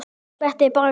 Þetta er bara gaman.